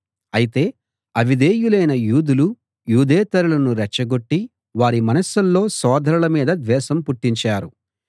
అయితే అవిధేయులైన యూదులు యూదేతరులను రెచ్చగొట్టి వారి మనసుల్లో సోదరుల మీద ద్వేషం పుట్టించారు